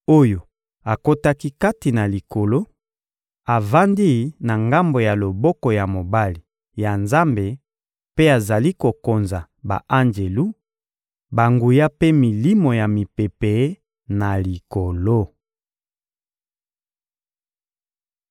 oyo akotaki kati na Likolo, avandi na ngambo ya loboko ya mobali ya Nzambe mpe azali kokonza ba-anjelu, banguya mpe milimo ya mipepe na likolo.